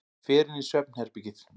Fer inn í svefnherbergið.